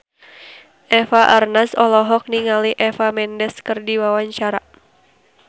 Eva Arnaz olohok ningali Eva Mendes keur diwawancara